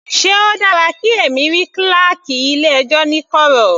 Sé o dára kí èmi rí kíláákì ilé ẹjọ́ ní kọ̀rọ̀.